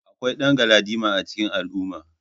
Akwai dan galadima a cikin al'umma.